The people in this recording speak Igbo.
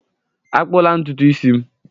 Akpụla ntutu isi m!